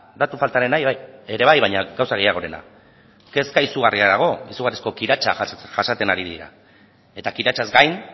datu faltarena ere bai baina gauza gehiagorena kezka izugarria dago izugarrizko kiratsa jasaten ari dira eta kiratsaz gain